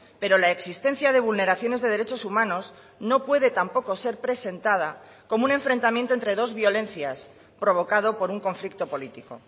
pero la existencia de vulneraciones de derechos humanos no puede tampoco ser presentada como un enfrentamiento entre dos violencias provocado por un conflicto político